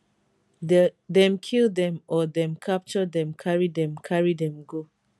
dem kill dem or dem capture dem carry dem carry dem go